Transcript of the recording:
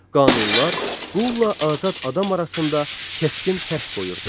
Qanunlar qulla azad adam arasında kəskin fərq qoyurdu.